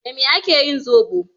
Da me ake yin zoɓo?